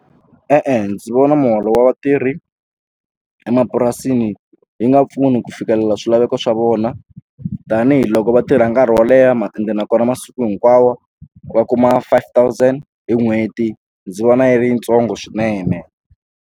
E-e ndzi vona muholo wa vatirhi emapurasini yi nga pfuni ku fikelela swilaveko swa vona tanihiloko va tirha nkarhi wo leha ma ende nakona masiku hinkwawo va kuma five thousand hi n'hweti ndzi vona yi ri yintsongo swinene.